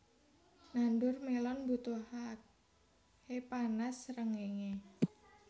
Nandur melon mbutuhae panas srengéngé